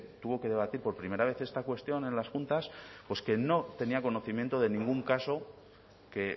tuvo que debatir por primera vez esta cuestión en las juntas que no tenía conocimiento de ningún caso que